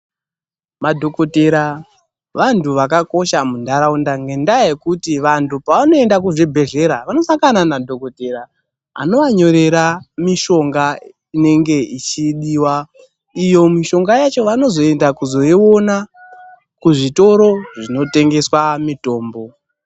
Madhokodhera vantu vakakosha muntaraunda, ngendaa yekuti vantu pevanoenda kuzvibhedhlera vanosangana nadhokodhera anovanyorera mishonga inenge ichidiwa, iyo mishonga yacho vanozoenda kuzoiona kuzvitoro zvinotengeswa mitombo.